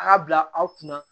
A y'a bila aw kunna